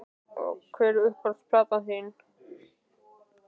Já Hver er uppáhalds platan þín?